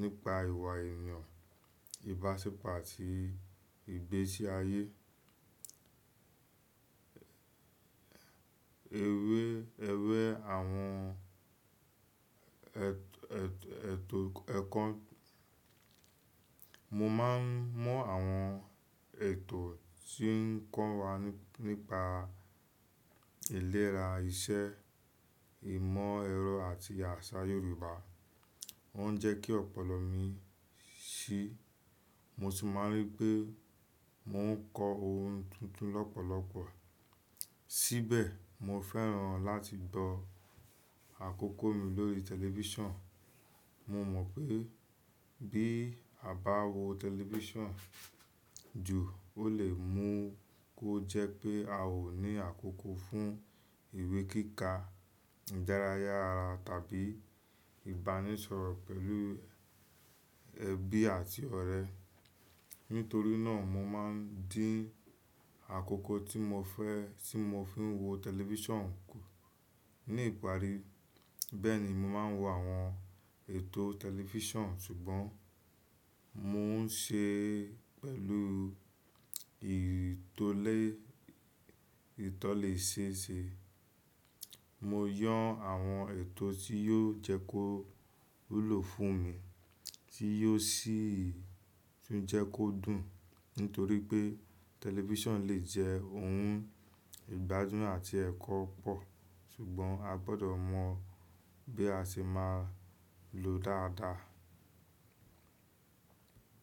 nípa ìwà èèyàn, ìbáṣepọ̀ àti ìgbésí ayé. Mo máa ń mọ àwọn ètò tí ń kọ́ wa nípa ìlera, iṣẹ́, ìmọ̀ ẹ̀rọ àti àṣà Yorùbá. Wọ́n ń jẹ́ kí ọ̀pọ̀lọpọ̀ mi ṣí, mo sì máa ń rí pé mò ń kọ́ ohun tuntun lọ́pọ̀lọpọ̀. Síbẹ̀, mo fẹ́ràn láti gbo àkókò mi lórí tẹlifíṣàn. Mo mọ̀ pé bí a bá wo tẹlifíṣàn jù ó lè mú kó jẹ́ pé a ó ní àkókò fún ìwé kíkà, ìdárayá ara tàbí ìbánisọ̀rọ̀ pẹ̀lú ẹbí àti ọ̀rẹ́. Nítorí náà, mo máa ń dín àkókò tí mo fẹ́ fi n wo tẹlifíṣàn kù ní ìparí. Bẹ́ẹ̀ni, mo máa ń wo àwọn ètò tẹlifíṣàn ṣùgbọ́n mò ń ṣe é pẹ̀lú ìtọ́lẹ́sẹẹsẹ. Mo yàn àwọn ètò tí yóò jẹ́ kó wúlò fún mi, tí yóò sì tún jẹ́ kó dùn. Nítorí pé tẹlifíṣàn lè jẹ́ ohun ìgbádùn àti ẹ̀kọ́ pọ̀, ṣùgbọ́n a gbọdọ̀ mọ bí a ṣe máa lòó dáadáa.